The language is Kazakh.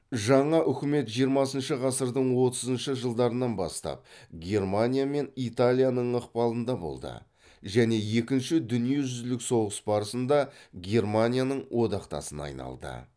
жаңа үкімет жиырмасыншы ғасырдың отызыншы жылдарынан бастап германия мен италияның ықпалында болды және екінші дүниежүзілік соғыс барысында германияның одақтасына айналды